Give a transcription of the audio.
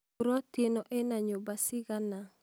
buroti ĩno ĩna nyũmba ciigana?